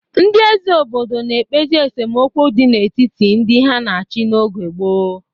Ndị eze obodo na-ekpezi esemokwu dị n'etiti ndị ha na-achị n'oge gboo.